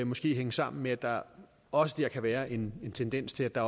måske hænge sammen med at der også der kan være en tendens til at der